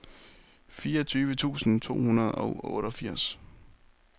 fireogtyve tusind to hundrede og otteogfirs